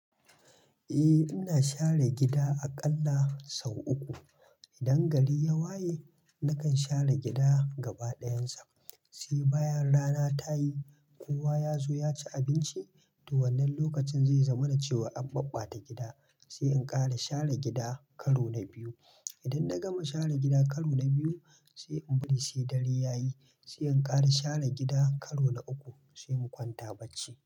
Eh ina share gida aƙalla sau uku. Idan gari ya waye, nakan share gida gaba ɗayansa. Sai bayan rana ta yi, kowa ya zo ya ci abinci, to wannan lokacin zai zamana cewa an maɓɓata gida. Sai in ƙara share gida karo na biyu. Idan na gama share gida karo na biyu, sai in bari sai dare ya yi, sai in ƙara share gida karo na uku sai mu kwanta bacci.